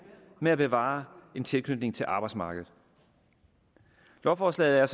med at kunne bevare en tilknytning til arbejdsmarkedet lovforslaget er